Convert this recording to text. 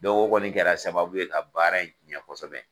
o kɔni kɛra sababu ye ka baara in tiyɛn kosɛbɛ.